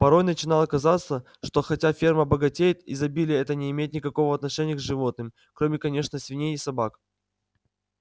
порой начинало казаться что хотя ферма богатеет изобилие это не имеет никакого отношения к животным кроме конечно свиней и собак